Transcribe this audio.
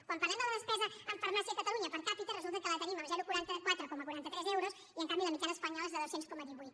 quan parlem de la despesa en farmàcia a catalunya per capita resulta que la tenim a cent i quaranta quatre coma quaranta tres euros i en canvi la mitjana espanyola és de dos cents coma divuit